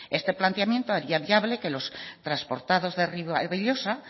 este planteamiento haría viable que los transportados de ribabellosa